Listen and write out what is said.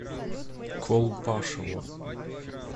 колпашево